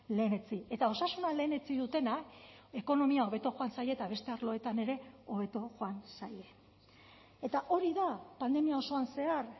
lehenetsi eta osasuna lehenetsi dutenak ekonomia hobeto joan zaie eta beste arloetan ere hobeto joan zaie eta hori da pandemia osoan zehar